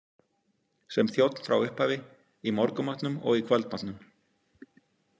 Sem þjónn frá upphafi, í morgunmatnum og í kvöldmatnum.